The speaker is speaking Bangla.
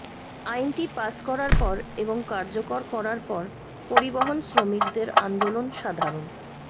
আইনটি পাস করার পর এবং কার্যকর করার পর পরিবহন শ্রমিকদের আন্দোলন সাধারণ